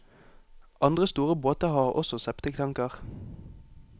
Andre store båter har også septiktanker.